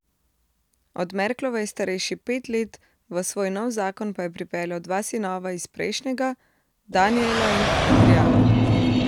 Od Merklove je starejši pet let, v svoj nov zakon pa je pripeljal dva sinova iz prejšnjega, Danijela in Adrijana.